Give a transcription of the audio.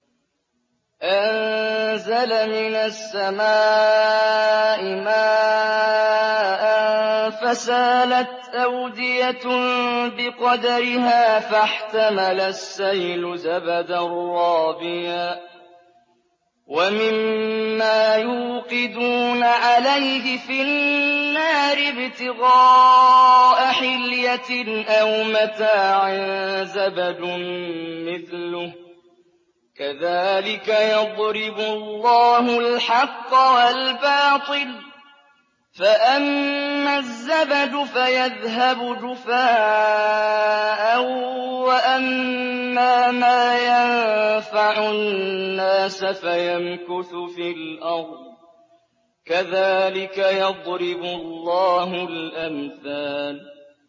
أَنزَلَ مِنَ السَّمَاءِ مَاءً فَسَالَتْ أَوْدِيَةٌ بِقَدَرِهَا فَاحْتَمَلَ السَّيْلُ زَبَدًا رَّابِيًا ۚ وَمِمَّا يُوقِدُونَ عَلَيْهِ فِي النَّارِ ابْتِغَاءَ حِلْيَةٍ أَوْ مَتَاعٍ زَبَدٌ مِّثْلُهُ ۚ كَذَٰلِكَ يَضْرِبُ اللَّهُ الْحَقَّ وَالْبَاطِلَ ۚ فَأَمَّا الزَّبَدُ فَيَذْهَبُ جُفَاءً ۖ وَأَمَّا مَا يَنفَعُ النَّاسَ فَيَمْكُثُ فِي الْأَرْضِ ۚ كَذَٰلِكَ يَضْرِبُ اللَّهُ الْأَمْثَالَ